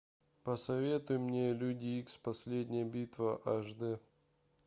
посоветуй мне люди икс последняя битва аш д